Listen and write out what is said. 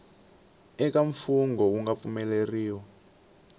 eka mfungho wu nga pfumeleriwa